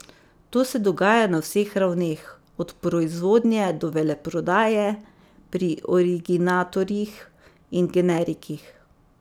To se dogaja na vseh ravneh, od proizvodnje do veleprodaje, pri originatorjih in generikih.